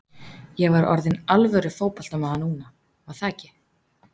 Ég var orðinn alvöru fótboltamaður núna, var það ekki?